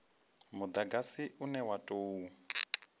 mudagasi une wa u tou